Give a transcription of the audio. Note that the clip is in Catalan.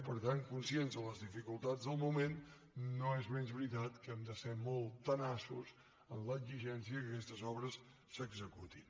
per tant conscients de les dificultats del moment no és menys veritat que hem de ser molt tenaços en l’exigència que aquestes obres s’executin